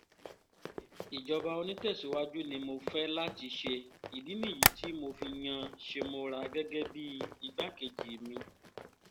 ìjọba onítẹ̀síwájú ni mo fẹ́ láti ṣe ìdí nìyí tí mo fi yan shemora gẹ́gẹ́ bíi igbákejì mi